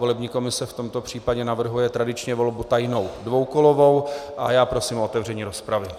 Volební komise v tomto případě navrhuje tradičně volbu tajnou dvoukolovou a já prosím o otevření rozpravy.